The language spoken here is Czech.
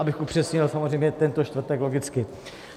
Abych upřesnil, samozřejmě tento čtvrtek logicky.